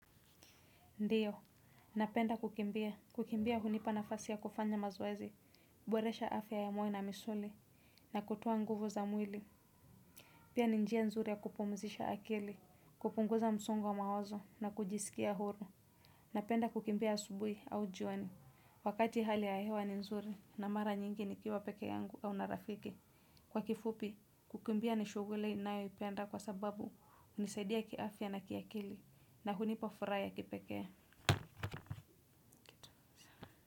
Ndiyo. Napenda kukimbia. Kukimbia hunipa nafasi ya kufanya mazoezi. Kuboresha afya ya mwa na misuli. Na kutoa nguvu za mwili. Pia ni njia nzuri ya kupumzisha akili. Kupunguza msongo wa mawazo na kujisikia huru. Napenda kukimbia asubui au jioni. Wakati hali ya hewa ni nzuri na mara nyingi nikiwa peke yangu au na rafiki. Kwa kifupi, kukimbia ni shuguli nayoipenda kwa sababu unisaidia kiafya na kiakili. Na hunipa furaha ya kipekee.